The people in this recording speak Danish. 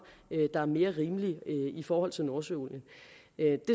der er mere rimelige i forhold til nordsøolien jeg